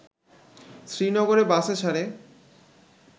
শ্রীনগরের বাসেছাড়ে